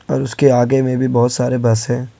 और उसके आगे में भी बहुत सारे बस है।